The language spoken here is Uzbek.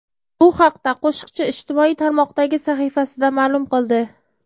Bu haqda qo‘shiqchi ijtimoiy tarmoqdagi sahifasida ma’lum qildi .